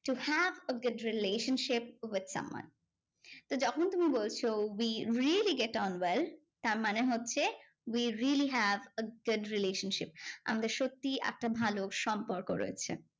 You have a good relationship with someone. তো যখন তুমি বলছো we really get on well তার মানে হচ্ছে, we really have a good relationship. আমরা সত্যি একটা ভালো সম্পর্ক রয়েছে।